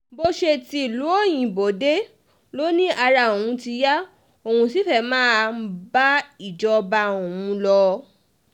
bó ṣe ti um ìlú òyìnbó dé ló ní ara òun ti yá um òun sì fẹ́ẹ́ máa ńbá ìṣèjọba òun lọ